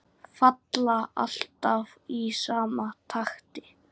Falla alltaf í sama takti.